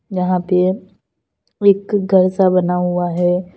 यहां पे एक घर सा बना हुआ है।